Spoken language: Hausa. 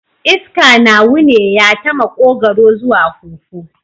Iska na wuneya ta makogaro zuwa huhu